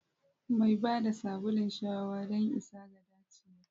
Mai ba da sabulun shawa don isa ga dacewa.